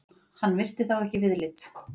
Hann virti þá ekki viðlits.